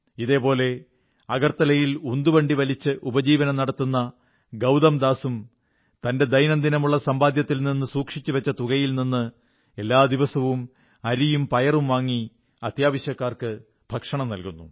ഇതേപോലെ അഗർത്തലയിൽ ഉന്തുവണ്ടി വലിച്ച് ഉപജീവനം നടത്തുന്ന ഗൌതംദാസും തന്റെ ദൈനംദിനമുള്ള സമ്പാദ്യത്തിൽ നിന്ന് സൂക്ഷിച്ചുവച്ച തുകയിൽ നിന്ന് എല്ലാദിവസവും അരിയും പയറും വാങ്ങി അത്യാവശ്യക്കാർക്ക് ഭക്ഷണം നല്കുന്നു